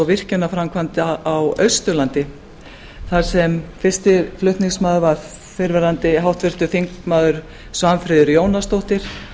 virkjanaframkvæmda á austurlandi þar sem fyrsti flutningsmaður var fyrrverandi háttvirtur þingmaður svanfríður jónasdóttir